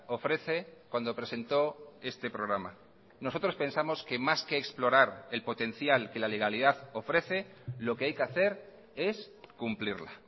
ofrece cuando presentó este programa nosotros pensamosque más que explorar el potencial que la legalidad ofrece lo que hay que hacer es cumplirla